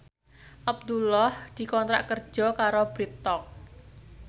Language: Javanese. Abdullah dikontrak kerja karo Bread Talk